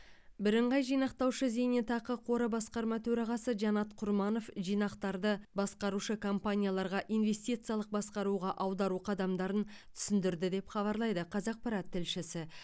бірыңғай жинақтаушы зейнетақы қоры басқарма төрағасы жанат құрманов жинақтарды басқарушы компанияларға инвестициялық басқаруға аудару қадамдарын түсіндірді деп хабарлайды қазақпарат тілшісі